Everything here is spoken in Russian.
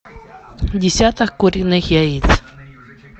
десяток куриных яиц